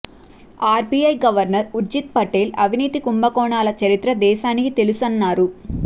RBI governor Urjit Patel అవినీతి కుంభకోణాల చరిత్ర దేశానికి తెలుసన్నారు